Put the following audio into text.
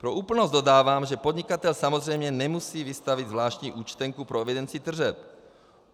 Pro úplnost dodávám, že podnikatel samozřejmě nemusí vystavit zvláštní účtenku pro evidenci tržeb.